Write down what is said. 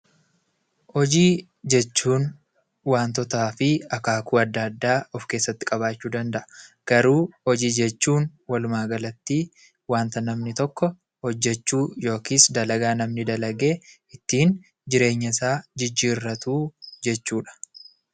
Hojii jechuun waantotaa fi akaakuu adda addaa of keessatti qabaachuu danda'a. Garuu hojii jechuun walumaa galatti wanta namni tokko hojjechuu yookis dalagaa dalagee ittiin jireenyasaa jijjiirratuu jechuudha.